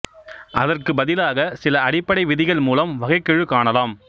அதற்குப் பதிலாக சில அடிப்படை விதிகள் மூலம் வகைக்கெழு காணலாம்